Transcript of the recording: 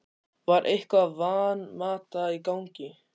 Var eitthvað Van Mata í gangi?